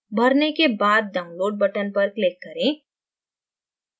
भरने के बाद download button पर click करें